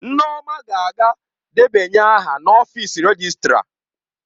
Nneoma ga-aga debanye aha n'ọfịs rejịstra.